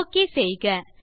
okay செய்க